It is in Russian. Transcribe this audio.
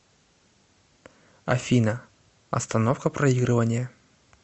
афина остановка проигрывания